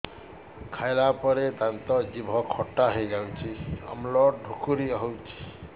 ଖାଇଲା ପରେ ଦାନ୍ତ ଜିଭ ଖଟା ହେଇଯାଉଛି ଅମ୍ଳ ଡ଼ୁକରି ହଉଛି